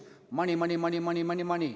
Tänan!